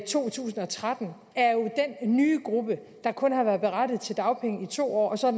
to tusind og tretten er jo den nye gruppe der kun har været berettiget til dagpenge i to år og så